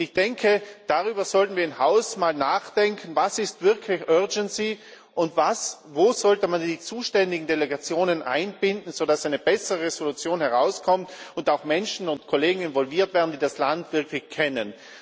Ich denke, darüber sollten wir im Haus mal nachdenken Was ist wirklich urgency und wo sollte man die zuständigen Delegationen einbinden, sodass eine bessere Entschließung herauskommt und auch Menschen und Kollegen involviert werden, die das Land wirklich kennen?